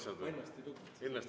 Ah ennast ei lugenud?